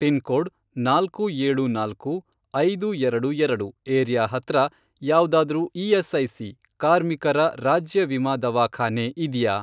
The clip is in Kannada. ಪಿನ್ಕೋಡ್, ನಾಲ್ಕು ಏಳು ನಾಲ್ಕು, ಐದು ಎರಡು ಎರಡು, ಏರಿಯಾ ಹತ್ರ ಯಾವ್ದಾದ್ರೂ ಇ.ಎಸ್.ಐ.ಸಿ. ಕಾರ್ಮಿಕರ ರಾಜ್ಯ ವಿಮಾ ದವಾಖಾನೆ ಇದ್ಯಾ?